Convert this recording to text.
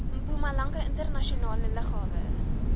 mpumalanga internasionale lughawe